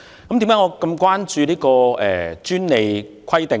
為甚麼我這麼關注這項專利規定呢？